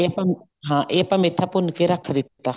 ਇਹ ਆਪਾਂ ਹਾਂ ਇਹ ਆਪਾਂ ਮੇਥਾ ਭੁੰਨ ਕੇ ਰੱਖ ਦਿੱਤਾ